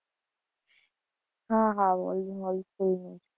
હા હા only wholesale નું જ.